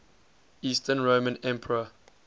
eastern roman emperor